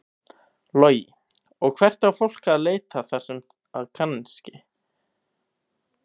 Logi: Og hvert á fólk að leita þar sem að kannski?